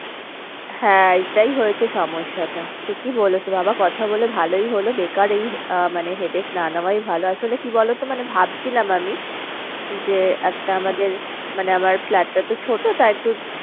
হ্যাঁ এটাই হয়েছে সমস্যাটা। ঠিকই বলেছো বাবা কথা বলে ভালোই হলো বেকার এই আহ মানে headache না নেওয়াই ভালো। আসলে কি বলতো ভাবছিলাম আমি যে একটা আমাদের মানে আমার flat টা তো ছোটো তাই একটু